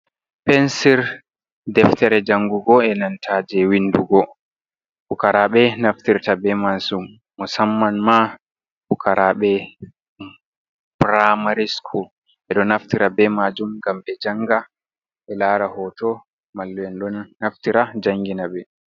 Pensir deftere jangugo, e nanta je windugo, fukarabe ɗo naftirta be man musamman ma fukaraɓe praimary skul. Ɓe ɗo naftira be majum gam ɓe janga ɓe lara hoto, mallu'en ɗo naftira jangina be.